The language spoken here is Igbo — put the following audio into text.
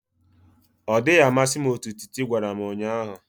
Ọ dịghị amasị m otú Titi gwara m ụnyahụ